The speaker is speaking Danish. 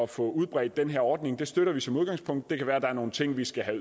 få udbredt den her ordning det støtter vi som udgangspunkt det kan være der er nogle ting vi skal have